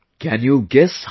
Can you guess how much